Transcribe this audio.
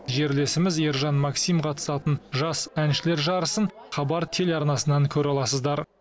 жерлесіміз ержан максим қатысатын жас әншілер жарысын хабар телеарнасынан көре аласыздар